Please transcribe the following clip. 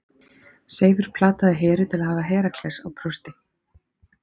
Seifur plataði Heru til að hafa Herakles á brjósti.